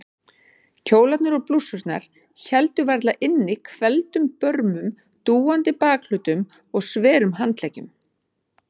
Kjólarnir og blússurnar héldu varla inni hvelfdum börmum, dúandi bakhlutum og sverum handleggjum.